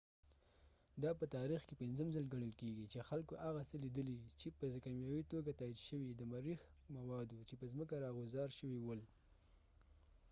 دا په تاریخ کې پنځم ځل ګڼل کيږي چې خلکو هغه څه لیدلي چې په کیمیاوي توګه تایید شوي د مریخ مواد وو چې په ځمکه راغوځار شوي ول